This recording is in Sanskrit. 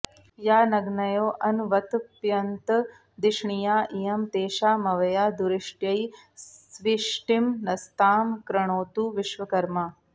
यान॒ग्नयो॒ऽन्वत॑प्यन्त॒ धिष्णि॑या इ॒यं तेषा॑मव॒या दुरि॑ष्ट्यै॒ स्वि॑ष्टिं न॒स्तां कृ॑णोतु वि॒श्वक॑र्मा